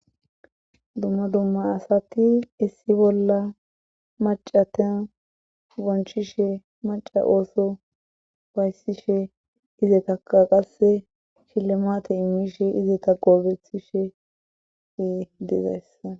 Dumma dumma asati issi bolla maccata bonchishe macca ooso ufayssishe izatakka qasse shillimaate immishe izata goobethishe dee dizaayssa